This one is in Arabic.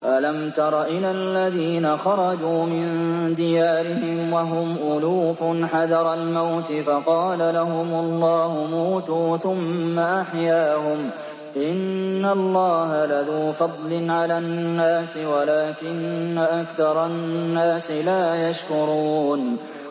۞ أَلَمْ تَرَ إِلَى الَّذِينَ خَرَجُوا مِن دِيَارِهِمْ وَهُمْ أُلُوفٌ حَذَرَ الْمَوْتِ فَقَالَ لَهُمُ اللَّهُ مُوتُوا ثُمَّ أَحْيَاهُمْ ۚ إِنَّ اللَّهَ لَذُو فَضْلٍ عَلَى النَّاسِ وَلَٰكِنَّ أَكْثَرَ النَّاسِ لَا يَشْكُرُونَ